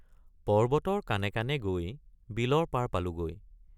পৰ্বতৰ কানে কানে গৈ বিলৰ পাৰ পালোগৈ।